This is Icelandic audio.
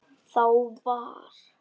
Þá var